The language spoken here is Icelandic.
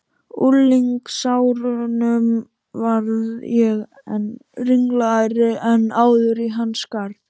unglingsárunum varð ég enn ringlaðri en áður í hans garð.